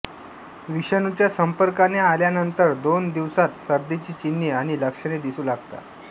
विषाणूच्या संपर्काने आल्यानंतर दोन दिवसात सर्दीची चिन्हे आणि लक्षणे दिसू लागतात